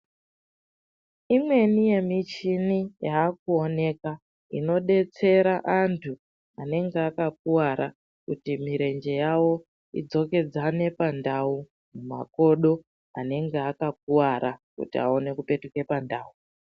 Imweni yemichini yakuwoneka inodetsera antu anenge akakuwara kuti mirenje yawo idzokedzane pandawo, makodo anenge akakuwara kuti awane kupetuke pandawo.